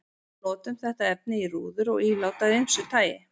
Við notum þetta efni í rúður og ílát af ýmsu tagi.